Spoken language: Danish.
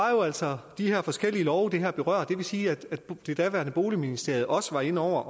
jo altså de her forskellige love det her berører og det vil sige at det daværende boligministerium også var inde over